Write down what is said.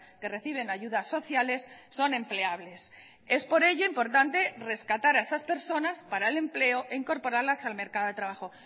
que reciben ayudas sociales son empleables es por ello importante rescatar a esas personas para el empleo e incorporarlas al mercado de trabajo